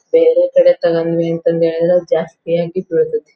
ಬೇರೆ ಕಡೆ ತಗಂದ್ವಿ ಅಂತ್ ಹೆಳ್ದ್ರೆ ಜಾಸ್ತಿ ಆಗಿ ಹೋಗ್ತತಿ.